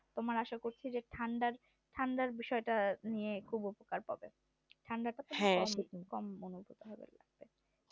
তোমার আশা করি যে ঠান্ডার বিষয়টা নিয়ে খুব উপকারী হবে ঠান্ডাটা